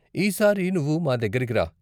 ఈసారి నువ్వు మా దగ్గరకి రా.